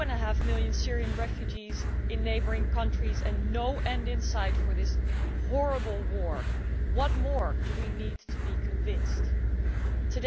2.5million Syrian refugees in neighbouring countries and no end in sight for this horrible war, what more do we need to be convinced about?